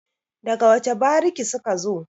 daga wace bariki suka zo?